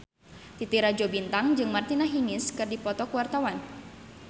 Titi Rajo Bintang jeung Martina Hingis keur dipoto ku wartawan